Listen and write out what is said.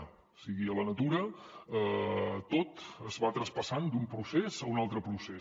o sigui a la natura tot es va traspassant d’un procés a un altre procés